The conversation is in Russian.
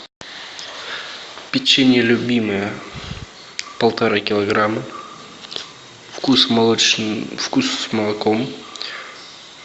печенье любимое полтора килограмма вкус с молоком